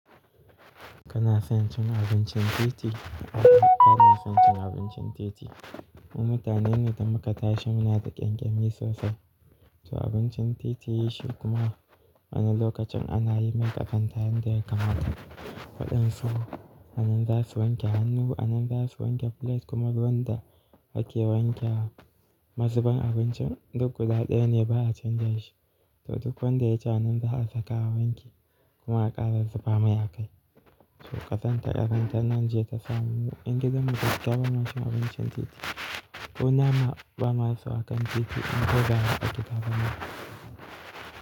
Kana son cin abincin titi? A'a bana son cin abincin titi. Mu mutane ne da muka tashi muna da ƙyankyami sosai, to abincin titi shi kuma awannan lokacin ana yi mai ƙazanta yanda yake mata. Waɗansu anan za su wanke hannu, anan za su wanke plate kuma ruwan da ake wanke wa mazuban abincin duk guda ɗaya ne ba a canja shi. To duk wanda ya ci anan za a saka wa wanki kuma a ƙara zuba mai a kai. To ƙazantar ƙasar Najeriya ta samu ƴan gidanmu gaskiya ba ma chin abincin titi. Ku na ma ba masu hakan titi in ko za a yi ta zamar.